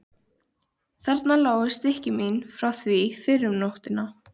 Þarna lágu stykki mín frá því fyrr um nóttina.